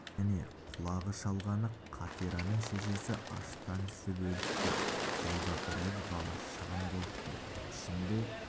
және құлағы шалғаны қатираның шешесі аштан ісіп өліпті жолда біраз бала шығын болыпты ішінде